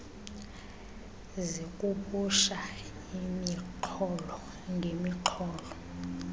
zixubusha imixholo ngemixholo